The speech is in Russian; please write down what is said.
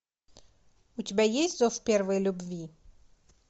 у тебя есть зов первой любви